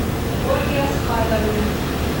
ольге асхатовне